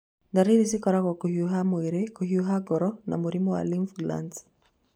Ndariri cikoragwo kũhiũha mwĩrĩ, kũhiũha ngoro na mũrimũ wa lymph glands.